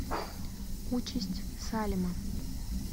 участь салема